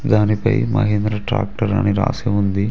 దానిపై మహేంద్ర ట్రాక్టర్ అని రాసి ఉంది.